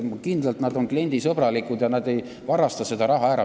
Nad on kindlasti kliendisõbralikud ega varasta seda raha ära.